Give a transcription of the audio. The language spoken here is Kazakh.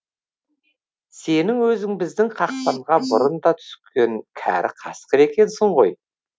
сенің өзің біздің қақпанға бұрын да түскен кәрі қасқыр екенсің ғой